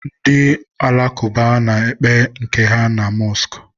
ndị ụka alakụba na-ekpe nke ha ma mọskụ.